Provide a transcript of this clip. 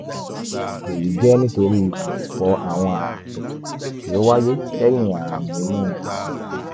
èyí jẹ́ nítorí ìdìpọ̀ àwọn ààtọ̀ tí ó wáyé lẹ́yìn ààrùn inú ààtọ̀